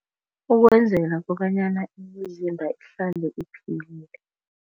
Ukwenzela kobanyana imizimba ihlale iphilile.